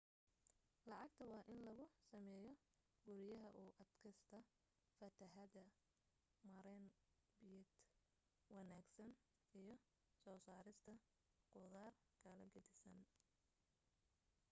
lacagta waa in lagu sameeyo guriyaha u adkaysta fatahaada maarayn biyeed wanaagsan iyo soo saarista khudaar kala gedisan